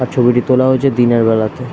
আর ছবিটি তোলা হয়েছে দিনের বেলাতে।